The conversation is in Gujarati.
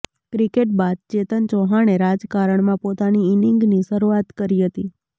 ક્રિકેટ બાદ ચેતન ચૌહાણે રાજકારણમાં પોતાની ઇનિંગની શરૂઆત કરી હતી